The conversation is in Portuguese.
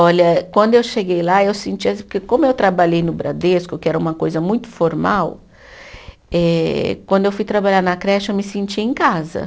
Olha, quando eu cheguei lá, eu senti assim, porque como eu trabalhei no Bradesco, que era uma coisa muito formal, eh quando eu fui trabalhar na creche, eu me senti em casa.